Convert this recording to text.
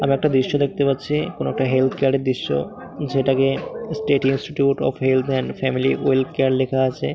আমি একটা দৃশ্য দেখতে পাচ্ছি কোনো একটা হেলথ কেয়ার দৃশ্য যেটাকে state institute of health and family welfare লেখা আছে ।